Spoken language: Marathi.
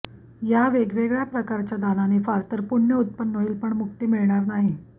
या वेगवेगळ्या प्रकारच्या दानाने फारतर पुण्य उत्पन्न होईल पण मुक्ती मिळणार नाही